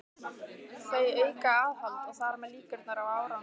Þau auka aðhald og þar með líkurnar á árangri.